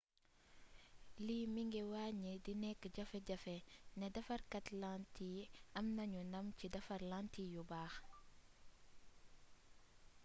lii mi ngi wàññi di nekk jafe jafe ne defarkaat lantiy am nanu ndam ci defar lantiy yu baax